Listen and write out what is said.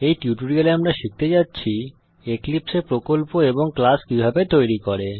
এই টিউটোরিয়ালে আমরা শিখতে যাচ্ছি এক্লিপসে এ প্রকল্প এবং ক্লাস কিভাবে তৈরী করে